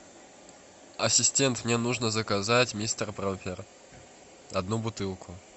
ассистент мне нужно заказать мистер пропер одну бутылку